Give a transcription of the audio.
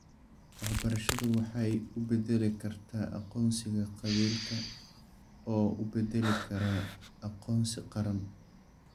Waxbarashadu waxay u beddeli kartaa aqoonsiga qabiilka oo u beddeli kara aqoonsi qaran.